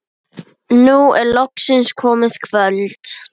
Nú er loksins komið kvöld.